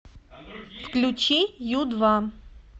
включи ю два